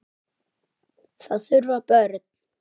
Það þurfa börn.